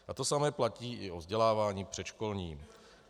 A to samé platí i o vzdělávání předškolním.